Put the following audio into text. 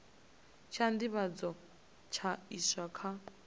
tsha nḓivhadzo tsha iswa kha